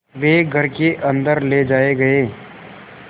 वे घर के अन्दर ले जाए गए